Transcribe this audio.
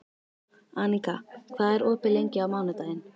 Aníka, hvað er opið lengi á mánudaginn?